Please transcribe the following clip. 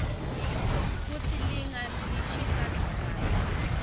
kutsi linga lishisa njani